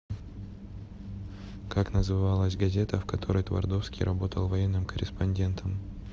как называлась газета в которой твардовский работал военным корреспондентом